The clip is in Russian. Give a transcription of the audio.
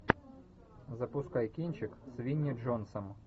запускай кинчик с винни джонсом